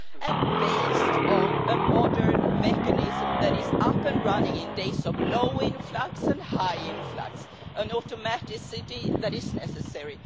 and based on a modern mechanism that is up and running in days of low influx and high influx an automaticity that is necessary.